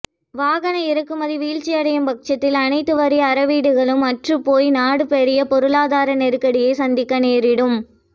வாகன இறக்குமதி வீழ்ச்சியடையும் பட்சத்தில் அனைத்து வரி அறவீடுகளும் அற்றுப்போய் நாடு பாரிய பொருளாதார நெருக்கடியை சந்திக்க நேரிடும்